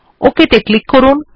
Ok ত়ে click করুন